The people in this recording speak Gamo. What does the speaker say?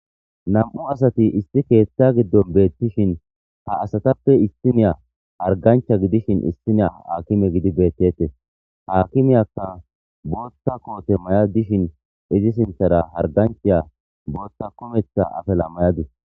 Nami'u asati issi keeththa giddon beettishin ha astappe issiniya hargganchcha gidishin issiniya haakime gidi beettetes. Ha aakimiyakka booththa koote maya dishin izi sinththera hargganchchaya booththa kumeththa afala mayadus.